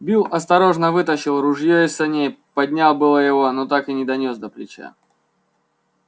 билл осторожно вытащил ружье из саней поднял было его но так и не донёс до плеча